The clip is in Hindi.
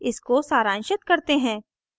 इसको सारांशित करते हैं